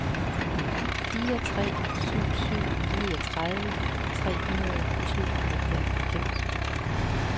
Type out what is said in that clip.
fire tre syv syv niogtredive tre hundrede og tooghalvfems